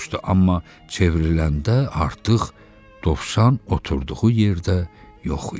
ucadan soruşdu, amma çevriləndə artıq dovşan oturduğu yerdə yox idi.